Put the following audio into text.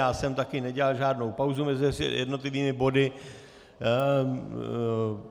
Já jsem taky nedělal žádnou pauzu mezi jednotlivými body.